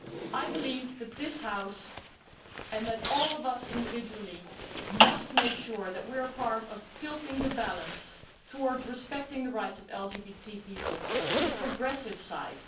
I believe that this House and all of us individually must make sure that we are part of tilting the balance of respect for the rights of LGBT people to the progressive side.